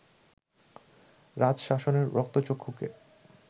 রাজশাসনের রক্তচক্ষুকে